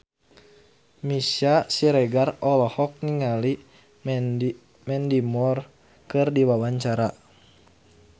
Meisya Siregar olohok ningali Mandy Moore keur diwawancara